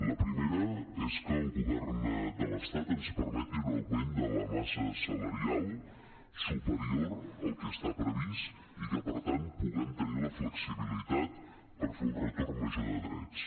la primera és que el govern de l’estat ens permeti un augment de la massa salarial superior al que està previst i que per tant puguem tenir la flexibilitat per fer un retorn major de drets